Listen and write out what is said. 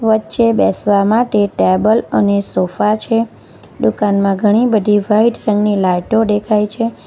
વચ્ચે બેસવા માટે ટેબલ અને સોફા છે ડુકાનમાં ઘણી બધી વાઈટ રંગની લાઇટો ડેખાય છે.